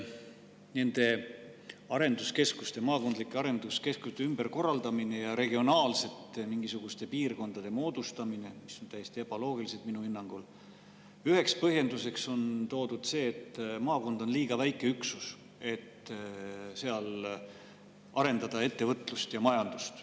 Nende arenduskeskuste, maakondlike arenduskeskuste ümberkorraldamise ja mingisuguste regionaalsete piirkondade moodustamise – minu hinnangul on need täiesti ebaloogilised – üheks põhjenduseks on toodud see, et maakond on liiga väike üksus selleks, et seal arendada ettevõtlust ja majandust.